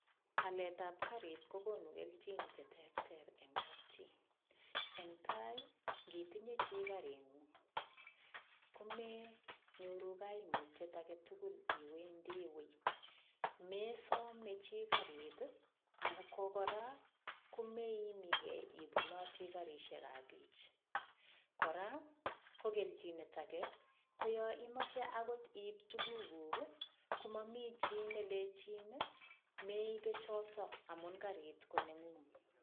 Aletab karit kokonu kelchin cheterter eng' kapchi eng' tai ngitinye chi karing'ung' komenyoru kaimutyet age tugul iwendi wii mesome chi karit ako kora kumeimigei ibunoti karishekab biich kora ko kelchinet age ko yo imoche akot iip tukukuk komami chi nelechin meibe choto amun karit koneng'ung'